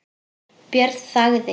Björn þagði.